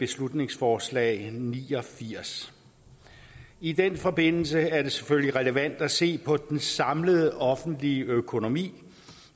beslutningsforslag b ni og firs i den forbindelse er det selvfølgelig relevant at se på den samlede offentlige økonomi